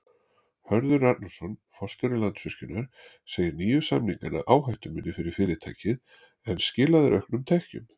Hörður Arnarson, forstjóri Landsvirkjunar segir nýju samningana áhættuminni fyrir fyrirtækið en skila þeir auknum tekjum?